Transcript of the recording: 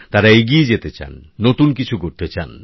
তারা এগিয়ে যেতে চান নতুন কিছু করতে চান